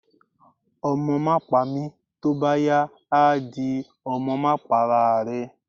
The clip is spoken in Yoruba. Omo ma pami, tọ bá yá á dí, Ọmọ ma pá ará rẹ́